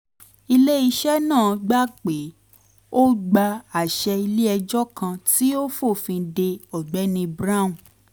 ile-iṣẹ náà gbà pé ó gba àṣẹ ilé ẹjọ́ kan tí ó fòfin de ọ̀gbẹ́ni brown